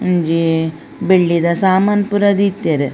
ಒಂಜಿ ಬೆಳ್ಳಿದ ಸಾಮನ್ ಪೂರ ದೀತೆರ್.